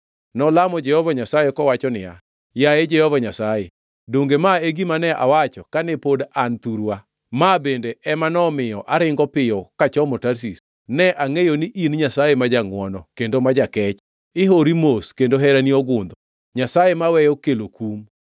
Nolamo Jehova Nyasaye kowacho niya, “Yaye Jehova Nyasaye, donge ma e gima ne awacho kane pod an thurwa, ma bende ema nomiyo aringo piyo kachomo Tarshish, ne angʼeyo ni in Nyasaye ma jangʼwono kendo ma jakech, ihori mos kendo herani ogundho, Nyasaye maweyo kelo kum.